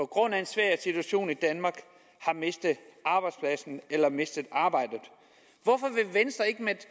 grund af en svær situation i danmark har mistet arbejdspladsen eller mistet arbejdet hvorfor vil venstre ikke være